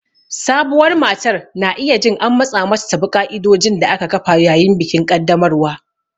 Sabuwar matar na iya jin an matsa mata ta bi ƙa'idodin da aka kafa yayin bikin ƙaddamarwa.